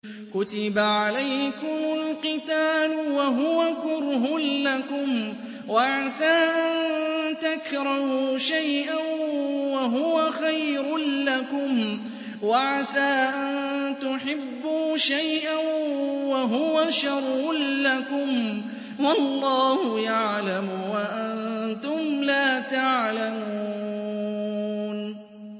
كُتِبَ عَلَيْكُمُ الْقِتَالُ وَهُوَ كُرْهٌ لَّكُمْ ۖ وَعَسَىٰ أَن تَكْرَهُوا شَيْئًا وَهُوَ خَيْرٌ لَّكُمْ ۖ وَعَسَىٰ أَن تُحِبُّوا شَيْئًا وَهُوَ شَرٌّ لَّكُمْ ۗ وَاللَّهُ يَعْلَمُ وَأَنتُمْ لَا تَعْلَمُونَ